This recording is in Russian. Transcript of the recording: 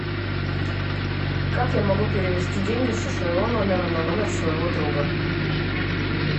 как я могу перевести деньги со своего номера на номер своего друга